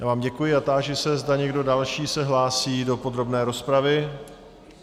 Já vám děkuji a táži se, zda někdo další se hlásí do podrobné rozpravy.